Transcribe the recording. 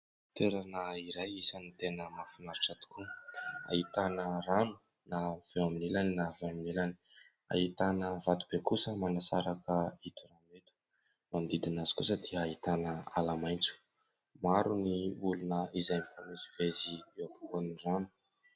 Toerana iray isany tena mahafinaritra tokoa : ahitana rano na avy eo amin'ilany na avy eo amin'ilany, ahitana vato be kosa manasaraka ito, manodidina azy kosa dia ahitana ala maitso, maro ny olona izay mifamezivezy eo am-povoan'ny rano.